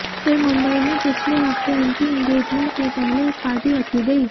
फिर मुंबई में पिछले हफ्ते उनकी इंगेजमेंट के पहले एक पार्टी रखी गई